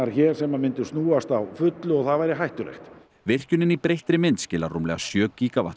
sem myndu snúast á fullu og það væri hættulegt virkjunin í breyttri mynd skilar rúmlega sjö